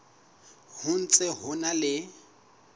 ho ntse ho na le